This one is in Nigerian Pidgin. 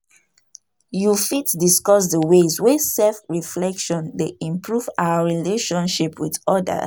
You fit discuss di ways wey self-reflection dey improve our relationships with odas?